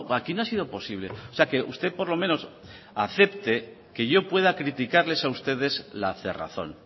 aquí no ha sido posible o sea que usted por lo menos acepte que yo pueda criticarles a ustedes la cerrazón